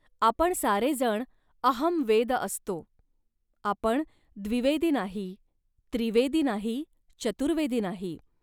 आपण सारे जण 'अहं वेद' असतो. आपण द्विवेदी नाही, त्रिवेदी नाही, चतुर्वेदी नाही